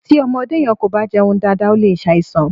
Tí ọmọdé yẹn kò bá jẹun dáadáa ó lè ṣàìsàn.